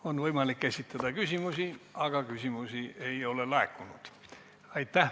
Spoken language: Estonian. On võimalik esitada küsimusi, aga küsimusi ei ole laekunud.